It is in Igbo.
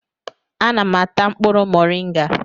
Ana m ata mkpụrụ moringa